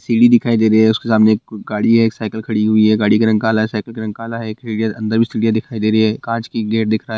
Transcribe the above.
सीढ़ी दिखाई दे रही है उसके सामने एक गाड़ी या एक साइकिल खड़ी हुई है गाड़ी का रंग काला है साइकिल का रंग काला है अंदर भी सीढ़ियां दिखाई दे रही है काँच की गेट दिख रहा है।